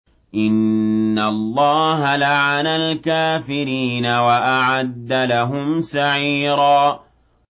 إِنَّ اللَّهَ لَعَنَ الْكَافِرِينَ وَأَعَدَّ لَهُمْ سَعِيرًا